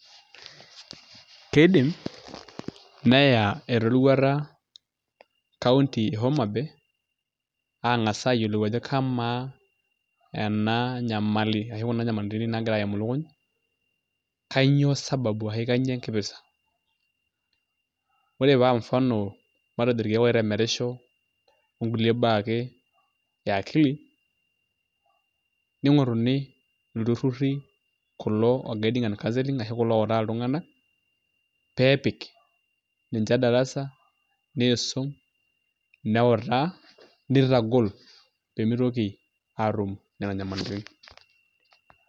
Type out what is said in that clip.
Keidim neya eroruata County e Homabay aang'as ajo kamaa ena nyamali ashu kuna nyamalitin naagira aimu ilukuny kainyioo sababu ashu enkipirta ore paa mfano irkeek oitemerisho okulie baa ake e akili ning'oruni ilturruri kulo le gudance and counselling kulo ooutaa iltung'anak pee epik ninche darasa niisum neutaa nitagol pee mitoki aatum nena nyamalitin.